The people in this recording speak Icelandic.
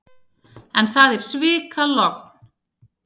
En það er svikalogn.